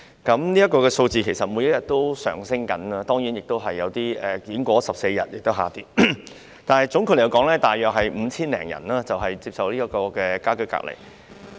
這個數字每天持續上升，當然也有一些人士完成14天家居隔離而令數字下跌，但總括來說，現時大約有5000多人接受家居隔離。